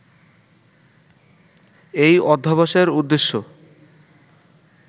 এই অধ্যবসায়ের উদ্দেশ্য